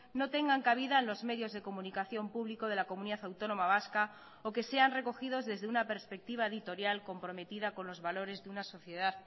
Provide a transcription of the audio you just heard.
no tengan cabida en los medios de comunicación público de la comunidad autónoma vasca o que sean recogidos desde una perspectiva editorial comprometida con los valores de una sociedad